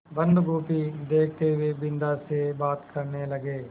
बन्दगोभी देखते हुए बिन्दा से बात करने लगे